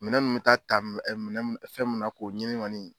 Minɛn nu mɛ taa ta m minɛn m fɛn mun na k'o ɲini ŋɔni